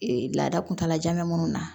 Ee laada kuntalajan minnu na